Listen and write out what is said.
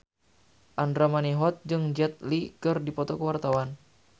Andra Manihot jeung Jet Li keur dipoto ku wartawan